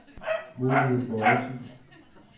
Mohammed Bojesen